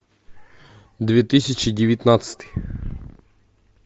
две тысячи девятнадцатый